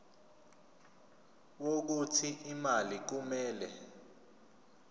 wokuthi imali kumele